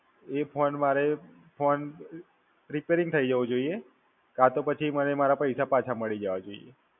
એ phone મારે, phone Repairing થઈ જવો જોઈએ કાં તો પછી મારા પૈસા પાછા મળી જવા જોઈએ.